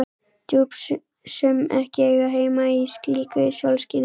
Djúp sem ekki eiga heima í slíku sólskini.